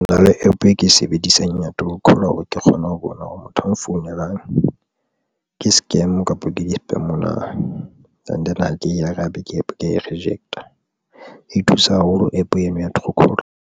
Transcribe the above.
Ke na le APP e ke e sebedisang ya true caller hore ke kgone ho bona hore motho a nfounelang ke scam kapa ke di-spam na. And then ha ke be ke APP ke reject-a, e thusa haholo APP eno ya true caller.